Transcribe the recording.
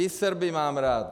I Srby mám rád.